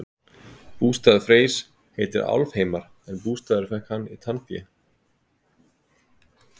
bústaður freys heitir álfheimar en bústaðinn fékk hann í tannfé